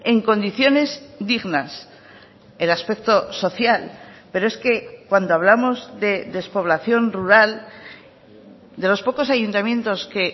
en condiciones dignas el aspecto social pero es que cuando hablamos de despoblación rural de los pocos ayuntamientos que